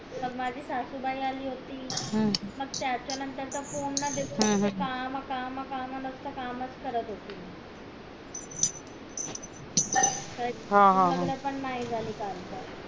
माझी सासूबाई अली होती मग त्याच्या नंतर ता पूर्ण दिवस नुसता काम काम काम नुसता कामच करत होती लग्न पण